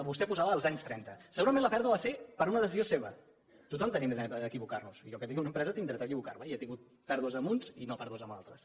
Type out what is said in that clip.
vostè posava els anys trenta segurament la pèrdua va ser per una decisió seva tothom tenim dret a equivocar nos jo que tinc una empresa tinc dret a equivocar me i he tingut pèrdues amb uns i no pèrdues amb altres